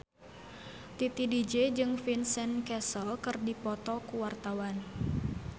Titi DJ jeung Vincent Cassel keur dipoto ku wartawan